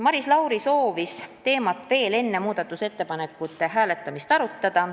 Maris Lauri soovis teemat veel enne muudatusettepanekute hääletamist arutada.